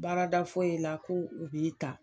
Baarada foyi la ko u b'i ta.